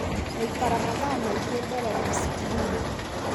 Gũikara mathaa maingĩ mbere ya scrini